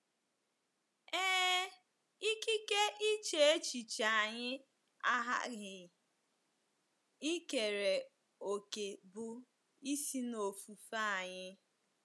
Ee, ikike iche echiche anyị aghaghị ikere òkè bụ́ isi n’ofufe anyị.